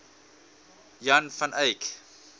jan van eyck